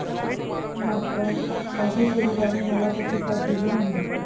मात्र, माझ्या शरीराने मला तशी साथ दिली नाही.